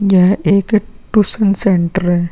यह एक tuition centre है।